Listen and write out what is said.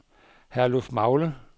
Herlufmagle